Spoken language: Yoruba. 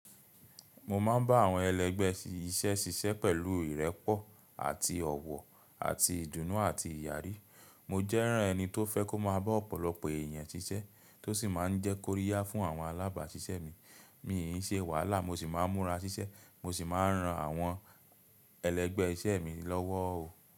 Mo ma ń bá àwọn ẹlẹ́gbẹ́ iṣẹ́ ṣiṣẹ́ pẹ̀lú ìrẹ́pọ̀ àti ọ̀wọ̀ àti ìdùnnú àti ìyàrí. Mo jẹ́ràn ẹni tó fẹ́ kó máa bá ọ̀pọ̀lọpọ̀ èèyàn ṣiṣẹ́, tó sì máa ń jẹ́ kóríyá fún àwọn alábàáṣiṣẹ́ mi. Mi n ṣe wàhálà, mo sì máa ń mura siṣẹ́, mo sì máa ń ran àwọn ẹlẹ́gbẹ́ iṣẹ́ mi lọ́wọ́ o.